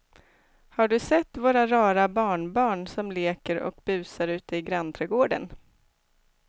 Har du sett våra rara barnbarn som leker och busar ute i grannträdgården!